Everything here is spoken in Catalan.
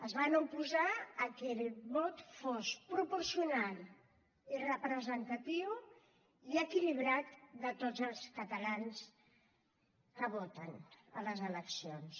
es van oposar que el vot fos proporcional i representatiu i equilibrat de tots els catalans que voten a les eleccions